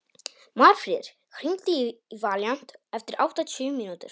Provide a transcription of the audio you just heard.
Marfríður, hringdu í Valíant eftir áttatíu mínútur.